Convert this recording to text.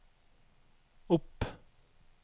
opp